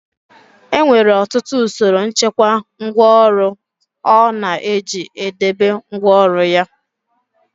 E nwere ọtụtụ usoro nchekwa ngwáọrụ ọ na-eji e debe ngwáọrụ ya.